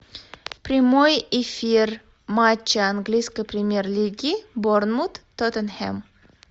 прямой эфир матча английской премьер лиги борнмут тоттенхэм